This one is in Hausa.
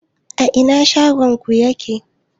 A ina shagon ku yake?